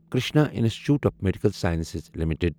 Krishna institute of medical sciences limited